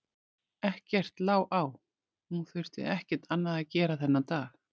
Ekkert lá á, hún þurfti ekkert annað að gera þennan dag.